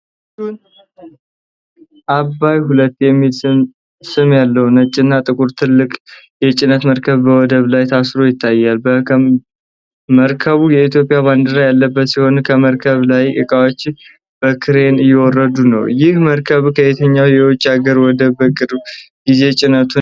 'ABBAY II' የሚል ስም ያለው ነጭና ጥቁር ትልቅ የጭነት መርከብ በወደብ ላይ ታስሮ ይታያል። መርከቡ የኢትዮጵያ ባንዲራ ያለበት ሲሆን፣ ከመርከብ ላይ ዕቃዎች በክሬን እየወረዱ ነው። ይህ መርከብ ከየትኛው የውጭ አገር ወደብ በቅርብ ጊዜ ጭነቱን አውርዷል?